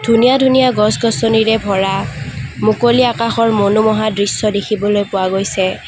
ধুনীয়া ধুনীয়া গছ-গছনিৰে ভৰা মুকলি আকাশৰ মনোমোহা দৃশ্য দেখিবলৈ পোৱা গৈছে।